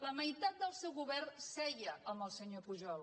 la meitat del seu govern seia amb el senyor pujol